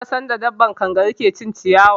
Na ga sanda dabbar kangaru ta ke cin ciyawa